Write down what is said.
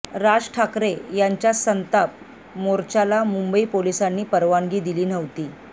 राज ठाकरे यांच्या संताप मोर्चाला मुंबई पोलिसांनी परवानगी दिली नव्हती